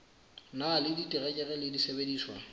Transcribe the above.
na le diterekere le disebediswa